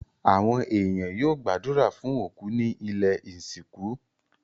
Àwon èèyàn yio gbàdùrà fun òkú ni ilẹ́ ìsìnkú